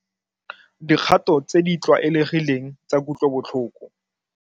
Dikgato tse di tlwaelegileng tsa kutlobotlhoko.